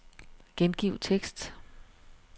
Gengiv tekst.